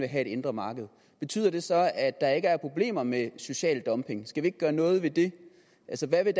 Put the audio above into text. have et indre marked betyder det så at der ikke er problemer med social dumping skal vi ikke gøre noget ved det altså hvad vil